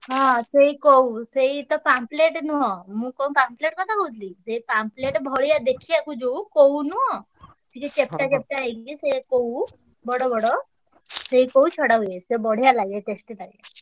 ହଁ ସେଇ କଉ ସେଇତ ପାମ୍ପଲେଟ ନୁହଁ। ମୁଁ କଣ ପାମ୍ପଲେଟ କଥା କହୁଥିଲି ସେଇ ପାମ୍ପ ଲେଟ ଭଳିଆ ଦେଖିଆକୁ ଯୋଉ କଉ ନୁହଁ ଟିକେ ଚେପଟା ଚେପଟା ହେଇକି ସେ କଉ ବଡବଡ ସେଇ କଉ ଛଡା ହୁଏ। ସେ ବଢିଆ ଲାଗେ tasty ଲାଗେ।